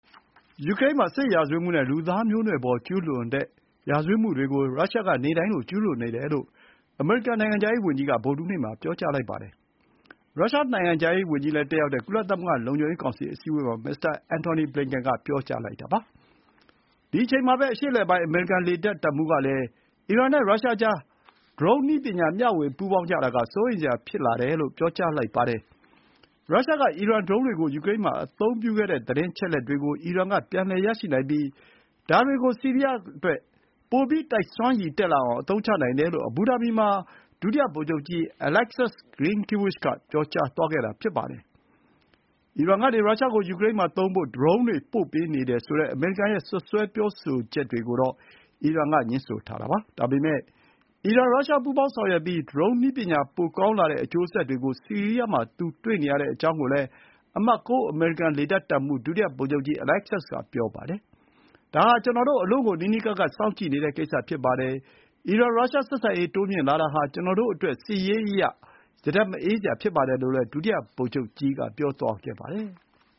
ယူကရိန်းမှာ စစ်ရာဇဝတ်မှုနဲ့ လူသားမျိုးနွယ်ပေါ်ကျူးလွန်တဲ့ ရာဇဝတ်မှုတွေကို ရုရှားက နေ့တိုင်းလို ကျူးလွန်နေတယ်လို့ အမေရိကန်နိုင်ငံခြားရေးဝန်ကြီးက ဗုဒ္ဓဟူးနေ့မှာ ပြောကြားလိုက်ပါတယ်။ ရုရှားနိုင်ငံခြားရေးဝန်ကြီးလည်း တက်ရောက်တဲ့ ကုလသမဂ္ဂလုံခြုံရေးကောင်စီအစည်းအဝေးမှာ မစ္စတာ အင်န်တော်နီ ဘလင်ကန် (Antony Blinken) က ပြောလိုက်တာဖြစ်ပါတယ်။ ဒီ အချိန်မှာပဲ အရှေ့အလယ်ပိုင်း အမေရိကန်လေတပ်တပ်မှူးကလည်း အီရန်နဲ့ ရုရှားကြား ဒရုန်းနည်းပညာမျှဝေပူးပေါင်းကြတာက စိုးရိမ်စရာဖြစ်တယ်လို့ ပြောပါတယ်။ ရုရှားက အီရန်ဒရုန်းတွေကို ယူကရိန်းမှာ အသုံးပြုခဲ့တဲ့သတင်းအချက်အလက်တွေကို အီရန်က ပြန်လည်ရရှိနိုင်ပြီး ဒါတွေကို ဆီးရီးယားအတွက် ပိုပြီးတိုက်စွမ်းရည်တက်လာအောင် အသုံးချနိုင်တယ်လို့ အဘူဒါဘီမှာ ဒုတိယ ဗိုလ်ချုပ်ကြီး အလက်ဆပ်စ် ဂရင်းကီးဝှချ် (Alexus Grynkewich) က ပြောကြားသွားခဲ့တာဖြစ်ပါတယ်။ အီရန်ကနေ ရုရှားကို ယူကရိန်းမှာသုံးဖို့ ဒရုန်းတွေပို့ပေးနေတယ်ဆိုတဲ့ အမေရိကန်ရဲ့ စွပ်စွဲပြောဆိုချက်တွေကိုတော့ အီရန်ကငြင်းဆိုထားတာပါ။ ဒါပေမဲ့ အီရန်၊ ရုရှား ပူးပေါင်းဆောင်ရွက်ပြီး ဒရုန်းနည်းပညာပိုပြီးကောင်းလာတဲ့အကျိုးဆက်တွေကို ဆီးရီးယားမှာ သူတွေ့နေရတဲ့အကြောင်းကိုလည်း အမှတ် ၉ အမေရိကန် လေတပ်တပ်မှူး ဒုတိယဗိုလ်ချုပ်ကြီး အလက်ဆပ်စ်ကပြောပါတယ်။ “ဒါ ဟာ ကျနော်တို့ အလွန့်ကို နီးနီးကပ်ကပ် စောင့်ကြည့်နေတဲ့ကိစ္စဖြစ်ပါတယ်။ အီရန်-ရုရှား ဆက်ဆံရေးတိုးမြှင့်လာတာဟာ ကျနော်တို့အတွက် စစ်ရေးအရ ရတက်မအေးစရာဖြစ်ပါတယ်လို့လည်း ဒုတိယ ဗိုလ်ချုပ်ကြီး က ပြောသွားခဲ့ပါတယ်။